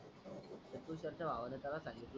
त्या कुशलच्या भावान त्यान सांगितल